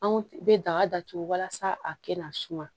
Anw bɛ daga datugu walasa a kana suma